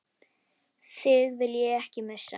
Þig vil ég ekki missa.